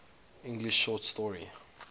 english short story